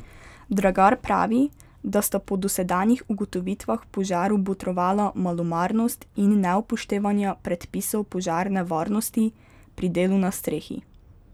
Dragar pravi, da sta po dosedanjih ugotovitvah požaru botrovala malomarnost in neupoštevanja predpisov požarne varnosti pri delu na strehi.